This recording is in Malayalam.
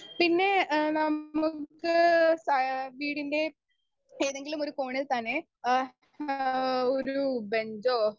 സ്പീക്കർ 2 പിന്നെ ഏഹ് നമ്മക്ക് സാ വീടിൻ്റെ ഏതെങ്കിലുമൊരു കോണിൽ തന്നെ ആഹ് ഒരു ബഞ്ചോ